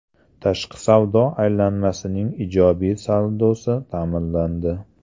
Tashqi savdo aylanmasining ijobiy saldosi ta’minlandi.